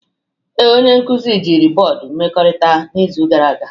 Ee, onye nkuzi jiri bọọdụ mmekọrịta n'izu gara aga